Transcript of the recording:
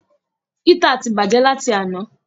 Hítà ti bàjẹ́ láti àná.